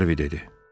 Harvi dedi.